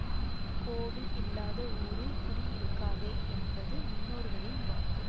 கோவில் இல்லாத ஊரில் குடி இருக்காதே என்பது முன்னோர்களின் வாக்கு